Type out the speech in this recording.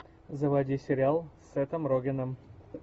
заводи сериал с сетом рогеном